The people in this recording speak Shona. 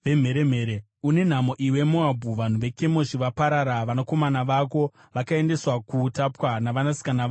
Une nhamo, iwe Moabhu! Vanhu veKemoshi vaparara; vanakomana vako vakaendeswa kuutapwa navanasikana vako muutapwa.